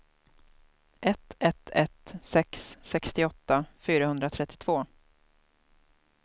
ett ett ett sex sextioåtta fyrahundratrettiotvå